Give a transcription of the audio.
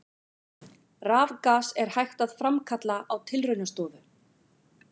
Rafgas er hægt að framkalla á tilraunastofu.